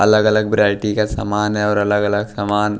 अलग-अलग वैरायटी का सामान है और अलग-अलग सामान--